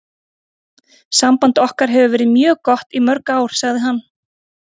Samband okkar hefur verið mjög gott í mörg ár, sagði hann.